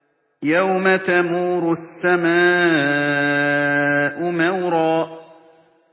يَوْمَ تَمُورُ السَّمَاءُ مَوْرًا